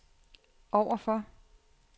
overfor